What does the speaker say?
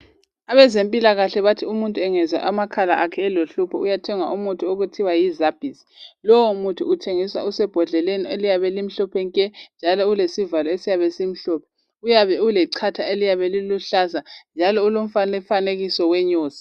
Abezempilakahle bathi umuntu engezwa amakhala akhe elohlupho, uyathenga umuthi okuthiwa yiZabis. Lowomuthi uthengiswa usebhodleleni, eliyabe limhlophe nke! Njalo ulesivalo esiyabe simhlophe. Uyabe ulechatha eliyabe liluhlaza, njalo ulomfanekiso wenyosi.